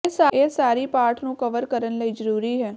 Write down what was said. ਇਹ ਸਾਰੀ ਪਾਠ ਨੂੰ ਕਵਰ ਕਰਨ ਲਈ ਜ਼ਰੂਰੀ ਹੈ